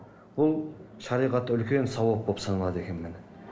бұл шариғатта үлкен сауап болып саналады екен міне